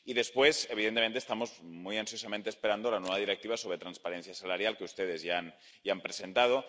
Y después, evidentemente, estamos muy ansiosamente esperando la nueva Directiva sobre transparencia salarial, que ustedes ya han presentado.